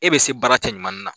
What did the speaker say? E bɛ se baara cɛɲumannin na